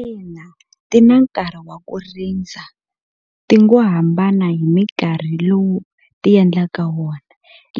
Ina ti na nkarhi wa ku rindza ti ngo hambana hi minkarhi lowu ti endlaka wona